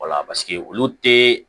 Wala paseke olu tɛ